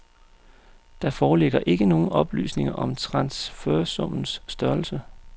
Der foreligger ikke nogen oplysninger om transfersummens størrelse.